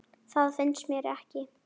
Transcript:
Það finnst mér ekki.